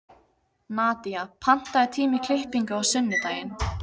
Nadía, pantaðu tíma í klippingu á sunnudaginn.